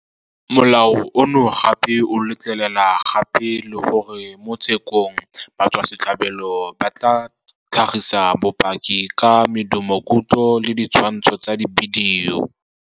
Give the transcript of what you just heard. Molao ono gape o letlelela gape le gore mo tshekong batswasetlhabelo ba ka tlhagisa bopaki ka medumokutlo le ditshwantsho tsa dibidio.